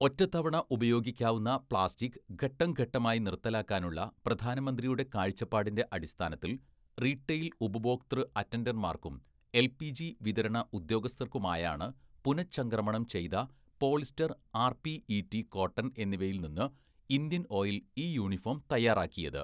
"ഒറ്റത്തവണ ഉപയോഗിക്കാവുന്ന പ്ലാസ്റ്റിക്ക് ഘട്ടംഘട്ടമായി നിർത്തലാക്കാനുള്ള പ്രധാനമന്ത്രിയുടെ കാഴ്ചപ്പാടിന്റെ അടിസ്ഥാനത്തിൽ, റീട്ടെയിൽ ഉപഭോക്തൃ അറ്റൻഡർമാർക്കും എൽപിജി വിതരണ ഉദ്യോഗസ്ഥർക്കുമായാണ് പുനഃചംക്രമണം ചെയ്ത പോളിസ്റ്റർ ആർപിഇടി, കോട്ടൺ എന്നിവയിൽ നിന്ന് ഇന്ത്യൻ ഓയിൽ ഈ യൂണിഫോം തയ്യാറാക്കിയത്. "